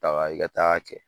Taga i ka taa'a kɛ